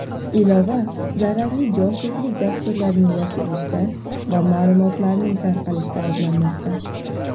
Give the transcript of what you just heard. ilova zararli josuslik dasturlarini yashirishda va ma’lumotlarning tarqalishida ayblanmoqda.